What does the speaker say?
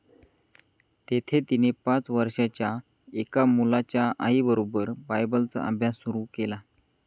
तेथे तिने पाच वर्षांच्या एका मुलाच्या आईबरोबर बायबलचा अभ्यास सुरू केला.